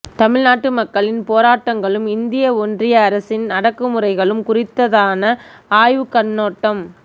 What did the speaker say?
தமிழ்நாட்டு மக்களின் போராட்டங்களும் இந்திய ஒன்றிய அரசின் அடக்குமுறைகளும் குறித்தான ஆய்வுக் கண்ணோட்டம்